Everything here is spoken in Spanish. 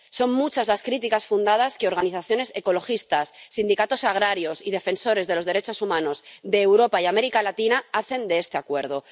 Son muchas las críticas fundadas que organizaciones ecologistas, sindicatos agrarios y defensores de los derechos humanos de Europa y América Latina hacen de este Acuerdo